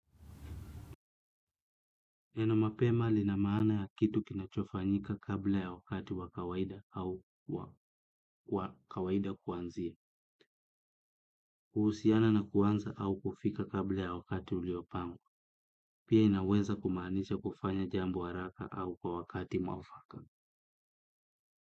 Neno mapema lina maana ya kitu kinachofanyika kabla ya wakati wa kawaida au wa kawaida kuanzia kuhusiana na kuanza au kufika kabla ya wakati uliopanga. Pia inaweza kumaanisha kufanya jambo haraka au kwa wakati mwafaka.